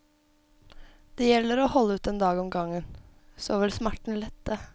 Det gjelder å holde ut en dag om gangen, så vil smerten lette.